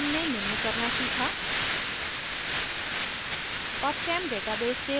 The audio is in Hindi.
इस tutorial में हमने निम्न करना सीखा